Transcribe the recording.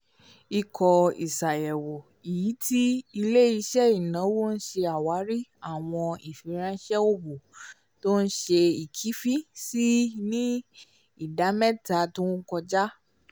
ikọ́ iṣayẹwo iti ile-iṣẹ ìnáwó ṣe awari awọn ifiranṣẹ òwò tó ṣe é kẹ̀fìn sí ni ìdá-mẹtamà tó kọja